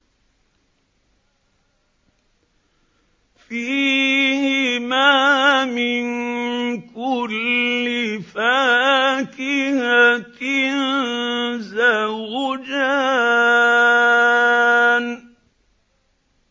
فِيهِمَا مِن كُلِّ فَاكِهَةٍ زَوْجَانِ